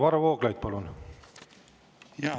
Varro Vooglaid, palun!